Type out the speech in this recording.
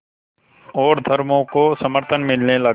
और धर्मों का समर्थन मिलने लगा